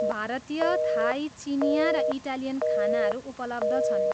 भारतीय, थाई, चिनियाँ, र इटालियन खानाहरू उपलब्ध छन्।